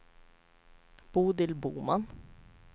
Bodil Boman